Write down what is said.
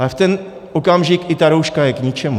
Ale v ten okamžik i ta rouška je k ničemu.